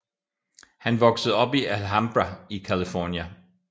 Han voksede op i Alhambra i California